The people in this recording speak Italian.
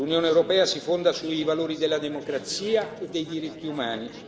L'Unione europea si fonda sui valori della democrazia e dei diritti umani.